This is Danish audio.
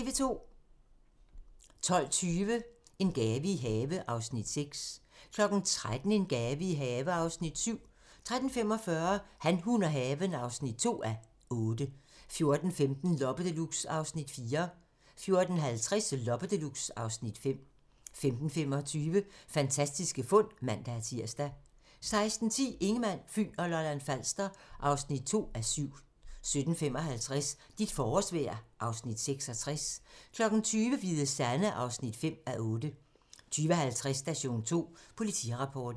12:20: En have i gave (Afs. 6) 13:00: En have i gave (Afs. 7) 13:45: Han, hun og haven (2:8) 14:15: Loppe Deluxe (Afs. 4) 14:50: Loppe Deluxe (Afs. 5) 15:25: Fantastiske fund (man-tir) 16:10: Ingemann, Fyn og Lolland-Falster (2:7) 17:55: Dit forårsvejr (Afs. 66) 20:00: Hvide Sande (5:8) 20:50: Station 2: Politirapporten